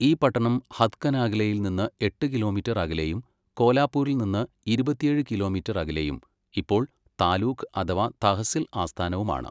ഈ പട്ടണം ഹത്കനാഗലേയിൽ നിന്ന് എട്ട് കിലോമീറ്റര് അകലെയും കോലാപ്പൂരിൽ നിന്ന് ഇരുപത്തിയേഴ് കിലോമീറ്റർ അകലെയും ഇപ്പോൾ താലൂക്ക് അഥവാ തഹസിൽ ആസ്ഥാനവുമാണ്.